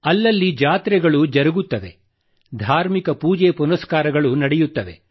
ಅಲ್ಲಲ್ಲಿ ಜಾತ್ರೆಗಳನ್ನು ಆಯೋಜಿಸಲಾಗಿದೆ ಧಾರ್ಮಿಕ ಪೂಜೆ ಪುನಸ್ಕಾರಗಳು ನಡೆಯುತ್ತವೆ